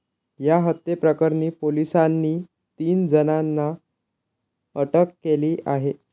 या हत्येप्रकरणी पोलिसांनी तीन जणांना अटक केली आहे.